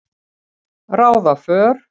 ráða för.